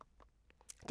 DR1